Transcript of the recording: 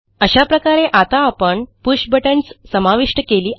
अशाप्रकारे आता आपण पुष बटन्स समाविष्ट केली आहेत